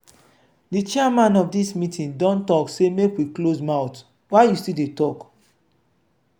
the chairman of dis meeting don say make we close mouth why you still dey talk?